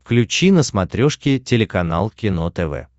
включи на смотрешке телеканал кино тв